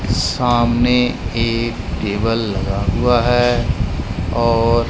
सामने एक टेबल लगा हुआ है और--